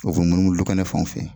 O bɛ munumunu du kɛnɛ fan fɛ